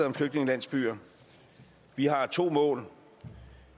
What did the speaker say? om flygtningelandsbyer vi har to mål